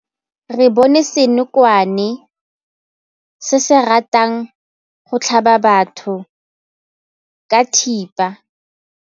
Re bone senokwane se se ratang go tlhaba batho ka thipa.